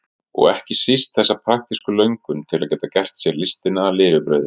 Og ekki síst þessa praktísku löngun til að geta gert sér listina að lifibrauði.